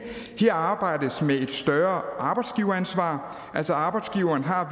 her arbejdes med et større arbejdsgiveransvar altså arbejdsgiveren har